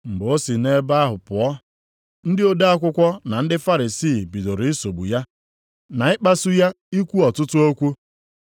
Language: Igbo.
Mgbe o si nʼebe ahụ pụọ, ndị ode akwụkwọ na ndị Farisii bidoro isogbu ya, na ịkpasu ya ikwu ọtụtụ okwu,